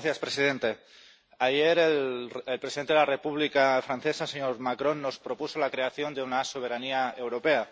Señor presidente, ayer el presidente de la República Francesa, el señor Macron, nos propuso la creación de una soberanía europea